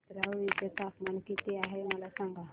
नेत्रावळी चे तापमान किती आहे मला सांगा